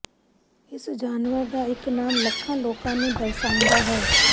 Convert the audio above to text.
ਇਸ ਜਾਨਵਰ ਦਾ ਇੱਕ ਨਾਮ ਲੱਖਾਂ ਲੋਕਾਂ ਨੂੰ ਦਰਸਾਉਂਦਾ ਹੈ